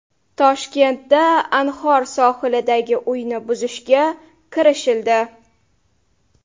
Toshkentda Anhor sohilidagi uyni buzishga kirishildi.